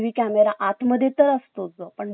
पण बाहेर जरी बसवला ना तो,